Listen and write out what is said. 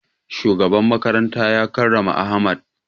Shugaban makarantar ya karrama ahmad